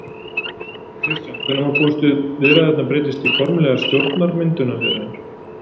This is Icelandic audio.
Kristján: Hvenær má búast við viðræðurnar breytist í formlegar stjórnarmyndunarviðræður?